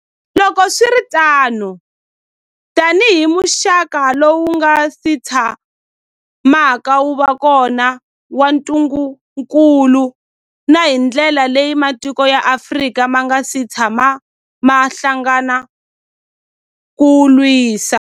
Loko swi ri tano, tanihi muxaka lowu wu nga si tshamaka wu va kona wa ntungukulu, na hi ndlela leyi matiko ya Afrika ma nga si tshamaka ma hlangana ku wu lwisa.